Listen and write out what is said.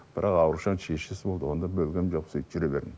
бірақ аурушаң шешесі болды оны да бөлгенім жоқ сөйтіп жүре бердім